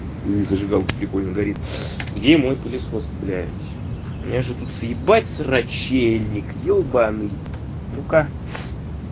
не зажигалка прикольно горит где мой пылесос блять у меня же тут съебать срачельник ёбанный ну-ка